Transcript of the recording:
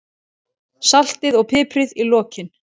Saltið og piprið í lokin.